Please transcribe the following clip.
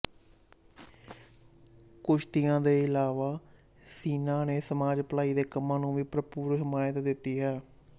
ਕੁਸ਼ਤੀਆਂ ਦੇ ਇਲਾਵਾ ਸੀਨਾ ਨੇ ਸਮਾਜ ਭਲਾਈ ਦੇ ਕੰਮਾਂ ਨੂੰ ਵੀ ਭਰਪੂਰ ਹਮਾਇਤ ਦਿੱਤੀ ਹੈ